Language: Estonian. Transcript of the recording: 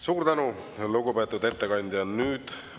Suur tänu, lugupeetud ettekandja!